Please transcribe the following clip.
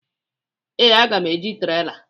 Ee, aga m eji trela.